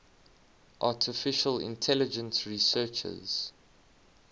artificial intelligence researchers